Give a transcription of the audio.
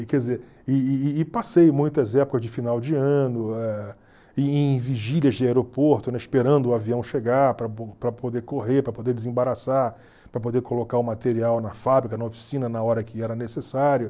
E quer dizer, e e e passei muitas épocas de final de ano eh em vigílias de aeroporto, esperando o avião chegar para poder correr, para poder desembarassar, para poder colocar o material na fábrica, na oficina, na hora que era necessário.